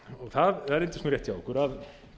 það reyndist rétt hjá okkur að